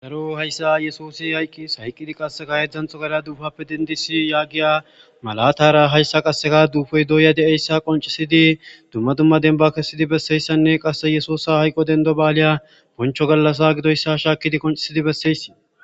daro hayssa yesusi hayqqis hayqqidi qasseka hedzanxo gara duufappe dendisi yaagiya malatara hayssa qasseka duufoy dooya de7eyssa qoncisidi dumma dumma denba kessidi besseyssanne qasse yesusa hayqo dendo baaliya boncho gallasa gidoyssa shaakidi qoncisidi besseysi